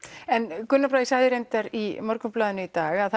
en Gunnar Bragi sagði reyndar í Morgunblaðinu í dag að